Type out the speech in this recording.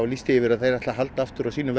lýst því yfir að þau ætli að halda aftur af sínum